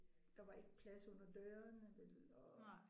Der var ikke plads under dørene vel og